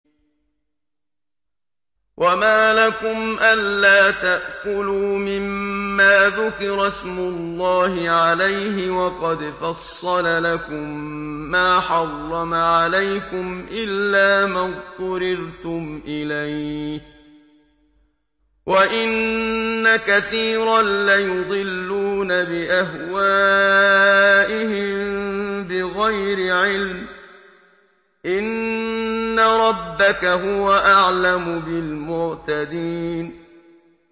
وَمَا لَكُمْ أَلَّا تَأْكُلُوا مِمَّا ذُكِرَ اسْمُ اللَّهِ عَلَيْهِ وَقَدْ فَصَّلَ لَكُم مَّا حَرَّمَ عَلَيْكُمْ إِلَّا مَا اضْطُرِرْتُمْ إِلَيْهِ ۗ وَإِنَّ كَثِيرًا لَّيُضِلُّونَ بِأَهْوَائِهِم بِغَيْرِ عِلْمٍ ۗ إِنَّ رَبَّكَ هُوَ أَعْلَمُ بِالْمُعْتَدِينَ